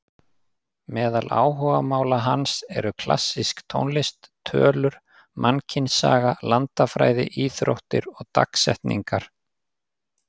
Meðal áhugamála hans eru klassísk tónlist, tölur, mannkynssaga, landafræði, íþróttir og dagsetningar.